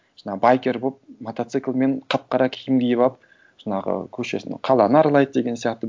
жаңағы байкер болып мотоциклмен қап қара киім киіп алып жаңағы көшесін қаланы аралайды деген сияқты